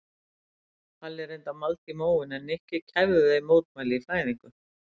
Palli reyndi að malda í móinn en Nikki kæfði þau mótmæli í fæðingu.